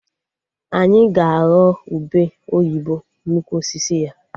Anyị ga-aghọ ube oyibo n'ukwu osisi ya